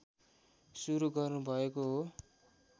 सुरु गर्नुभएको हो